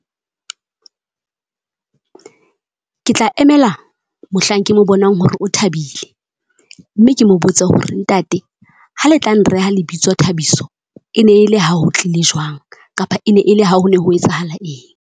Ke tla emela mohlang ke mo bonang hore o thabile. Mme ke mo botse hore ntate ha le tla nreha lebitso Thabiso, e ne e le ha ho tlile jwang? Kapa e ne e le ha ho ne ho etsahalang eng?